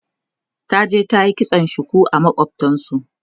taje ta yi kitson shuku a makwaftansu